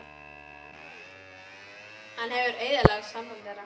Hann hefur eyðilagt samband þeirra.